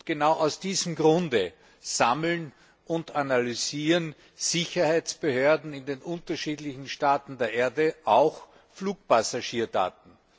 Genau aus diesem Grund sammeln und analysieren Sicherheitsbehörden in den unterschiedlichen Staaten der Erde auch Flugpassagierdaten.